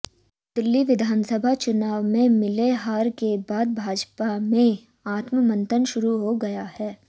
दिल्ली विधानसभा चुनाव में मिले हार के बाद भाजपा में आत्ममंथन शुरू हो गया है